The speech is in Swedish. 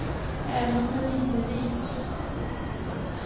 Även om den inte är vit.